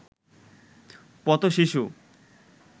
পথশিশু